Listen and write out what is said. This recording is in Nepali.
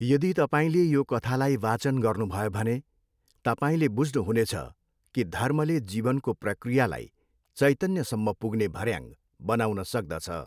यदि तपाईँले यो कथालाई वाचन गर्नुभयो भने तपाईँले बुझ्नुहुनेछ कि धर्मले जीवनको प्रक्रियालाई चैतन्यसम्म पुग्ने भऱ्याङ बनाउन सक्दछ।